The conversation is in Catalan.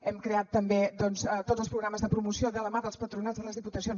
hem creat també doncs tots els programes de promoció de la mà dels patronats de les diputacions